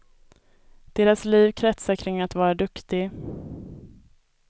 Deras liv kretsar kring att vara duktig.